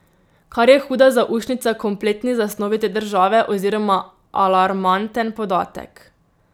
Kar je huda zaušnica kompletni zasnovi te države oziroma alarmanten podatek.